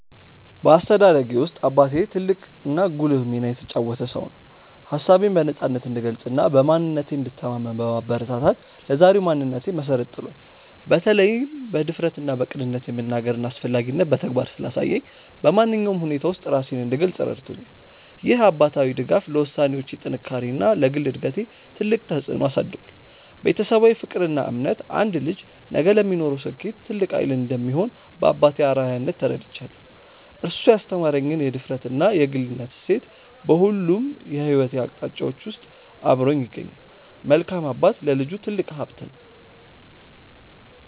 በአስተዳደጌ ውስጥ አባቴ ትልቅና ጉልህ ሚና የተጫወተ ሰው ነው። ሀሳቤን በነፃነት እንድገልጽና በማንነቴ እንድተማመን በማበረታታት ለዛሬው ማንነቴ መሰረት ጥሏል። በተለይም በድፍረትና በቅንነት የመናገርን አስፈላጊነት በተግባር ስላሳየኝ፣ በማንኛውም ሁኔታ ውስጥ ራሴን እንድገልጽ ረድቶኛል። ይህ አባታዊ ድጋፍ ለውሳኔዎቼ ጥንካሬና ለግል እድገቴ ትልቅ ተጽዕኖ አሳድሯል። ቤተሰባዊ ፍቅርና እምነት አንድ ልጅ ነገ ለሚኖረው ስኬት ትልቅ ኃይል እንደሚሆን በአባቴ አርአያነት ተረድቻለሁ። እሱ ያስተማረኝ የድፍረትና የግልነት እሴት በሁሉም የሕይወት አቅጣጫዎቼ ውስጥ አብሮኝ ይገኛል። መልካም አባት ለልጁ ትልቅ ሀብት ነው።